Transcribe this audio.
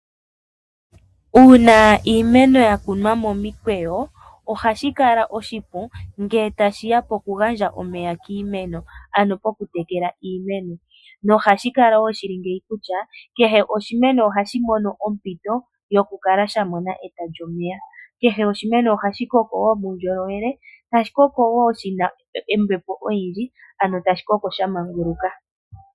Uuna iimeno yakunwa momikweyo ohashikala oshipu ngele tashiya pokugandja omeya kiimeno, ano pokutekela iimeno, nohashi kala wo shili ngeyi kutya kehe oshimeno ohashi mono ompito yokukala shamona eta lyomeya. Kehe oshimeno ohashi koko wo muundjolowele tashikoko wo shina ombepo oyindji ano tashi koko sha manguluka.